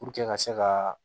ka se ka